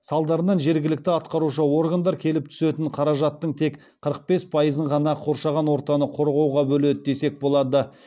салдарынан жергілікті атқарушы органдар келіп түсетін қаражаттың тек қырық бес пайызын ғана қоршаған ортаны қорғауға бөледі десек болады